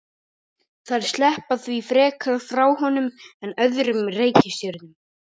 Þær sleppa því frekar frá honum en öðrum reikistjörnum.